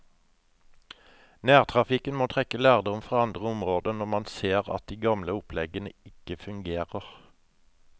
Nærtrafikken må trekke lærdom fra andre områder når man ser at de gamle oppleggene ikke fungerer.